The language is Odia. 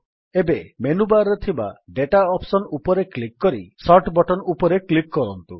ଏବେ ମେନୁବାର୍ ରେ ଥିବା ଦାତା ଅପ୍ସନ୍ ଉପରେ କ୍ଲିକ୍ କରି ସୋର୍ଟ ବଟନ୍ ଉପରେ କ୍ଲିକ୍ କରନ୍ତୁ